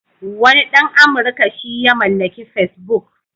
Wani ɗan Amurka shi ya mallaki Facebook.